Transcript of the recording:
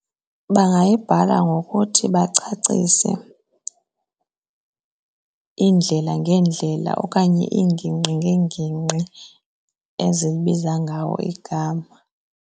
Bangayibhala ngokuthi bacacise iindlela ngeendlela okanye iingingqi ngeengingqi ezibiza ngawo igama.